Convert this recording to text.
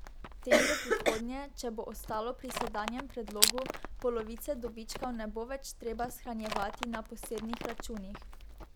Tem v prihodnje, če bo ostalo pri sedanjem predlogu, polovice dobičkov ne bo več treba shranjevati na posebnih računih.